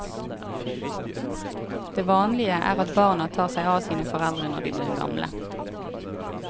Det vanlige er at barna tar seg av sine foreldre når de blir gamle.